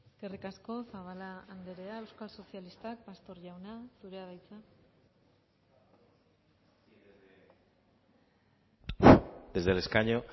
eskerrik asko zabala andrea euskal sozialistak pastor jauna zurea da hitza desde el escaño